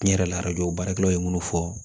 Tiɲɛ yɛrɛ la baarakɛlaw ye minnu fɔ